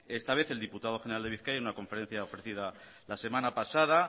esta vez el diputado general de bizkaia en una conferencia ofrecida la semana pasada